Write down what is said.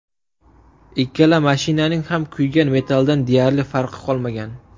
Ikkala mashinaning ham kuygan metalldan deyarli farqi qolmagan.